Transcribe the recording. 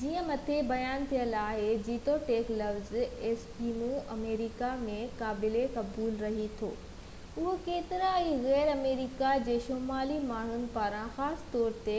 جيئن مٿي بيان ٿيل آهي جيتوڻيڪ لفظ ايسڪيمو آمريڪا ۾ قابل قبول رهي ٿو اهو ڪيترن ئي غير امريڪا جي شمالي ماڻهن پاران خاص طور تي